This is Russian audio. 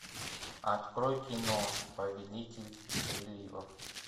открой кино повелитель приливов